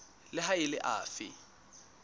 le ha e le afe